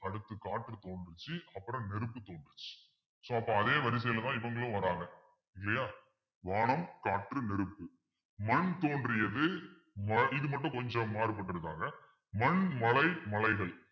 அடுத்து காற்று தோன்றுச்சு அப்புறம் நெருப்பு தோன்றுச்சு so அப்ப அதே வரிசையிலதான் இவங்களும் வர்றாங்க இல்லையா வானம் காற்று நெருப்பு மண் தோன்றியது அஹ் இது மட்டும் கொஞ்சம் மாறுபட்டிருக்காங்க மண் மழை மலைகள்